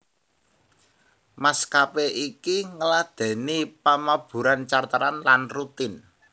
Maskapé iki ngladèni pamaburan charteran lan rutin